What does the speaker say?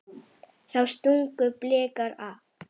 Þá stungu Blikar af.